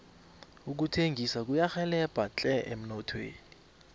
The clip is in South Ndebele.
ukuthengisa kuyarhelebha tle emnothweni